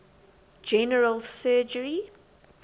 general surgery